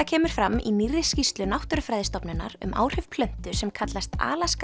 kemur fram í nýrri skýrslu Náttúrufræðistofnunar um áhrif plöntu sem kallast